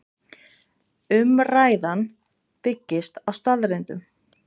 Umræðan byggist á staðreyndum